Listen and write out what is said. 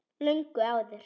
Löngu áður.